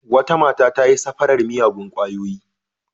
Wata mata ta yi safarar miyagun ƙwayoyi.